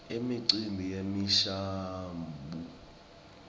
imicimbi yemishabuo